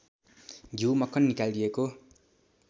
घ्यू मक्खन निकालिएको